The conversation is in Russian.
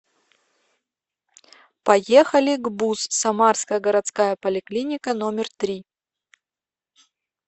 поехали гбуз самарская городская поликлиника номер три